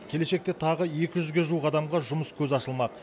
келешекте тағы екі жүзге жуық адамға жұмыс көзі ашылмақ